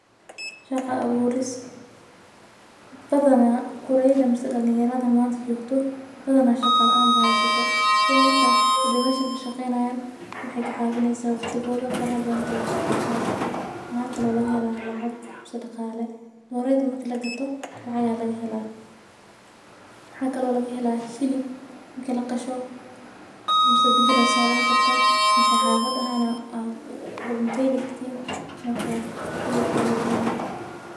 Shaqa aburis badana kureyda mase dalin yaradha manta jigto waxee ka caqineysa in doreyda marki laqalo in lacag iyo hilib laga helo marka sas waye sitha doreyda ee waxtar uledhahay.